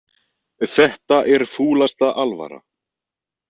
Þetta er fúlasta alvara